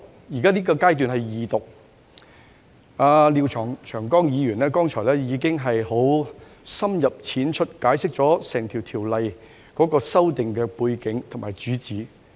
現在是二讀階段，而廖長江議員剛才亦已經深入淺出地解釋《條例草案》的背景和主旨。